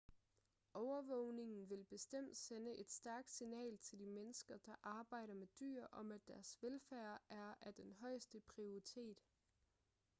overvågningen vil bestemt sende et stærkt signal til de mennesker der arbejder med dyr om at deres velfærd er af den højeste prioriteret